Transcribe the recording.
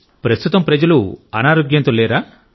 ప్రస్తుతం ప్రజలు అనారోగ్యంతో లేరా